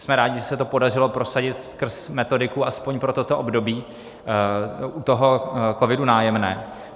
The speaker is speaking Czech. Jsme rádi, že se to podařilo prosadit skrz metodiku aspoň pro toto období u toho COVIDu - Nájemné.